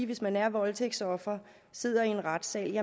hvis man er voldtægtsoffer og sidder i en retssal